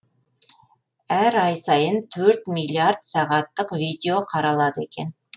әр ай сайын төрт миллиард сағаттық видео қаралады екен